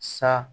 Sa